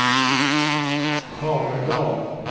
Haverdal